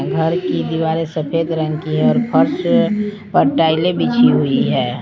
घर की दीवारें सफेद रंग की है और फर्श पर टाइलें बिछी हुई है।